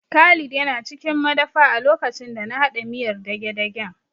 Khalid yana cikin madafa a lokacin da na haɗa miyar dagedagen